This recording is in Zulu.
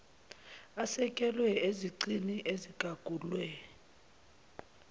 asekelwe ezicini ezigagulwe